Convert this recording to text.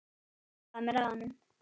Ég hallaði mér að honum.